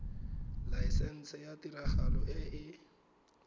laesense ya tiragalo e e